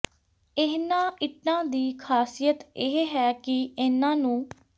ਇਹਨਾਂ ਇੱਟਾਂ ਦੀ ਖ਼ਾਸਿਅਤ ਇਹ ਹੈ ਕਿ ਇਨ੍ਹਾਂ ਨੂੰ